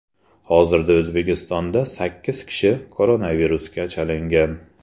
Hozirda O‘zbekistonda sakkiz kishi koronavirusga chalingan.